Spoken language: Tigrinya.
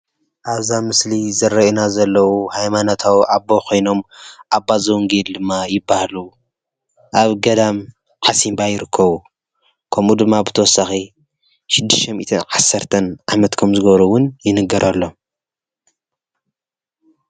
ኣብዛ ምስሊ ዝርኣዩና ዘለው ሃይማኖታዊ ኣቦ ኾይኖም ኣባ ዘወንጌል ድማ ይበሃሉ። ኣብ ገዳም ዓሲምባ ይርከቡ። ከምኡ ድማ ብተወሳኺ 610 ዓመት ከም ዝገበሩ እዉን ይንገረሎም።